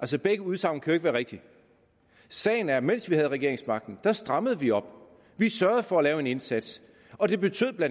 altså begge udsagn kan jo ikke være rigtige sagen er at mens vi havde regeringsmagten strammede vi op vi sørgede for at lave en indsats og det betød bla